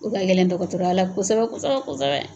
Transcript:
O ka gɛlɛn dɔgɔtɔrɔya la kosɛbɛ-kosɛbɛ-kosɛbɛ.